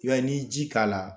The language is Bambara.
Yani ji k'a la